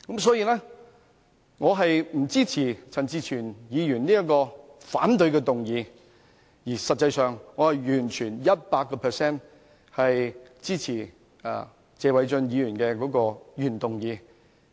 所以，我不支持陳志全議員的反對議案，而實際上，我完全百分百支持謝偉俊議員的原議案。